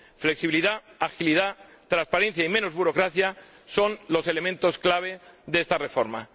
Flexibilidad, agilidad, transparencia y menos burocracia son los elementos clave de esta reforma.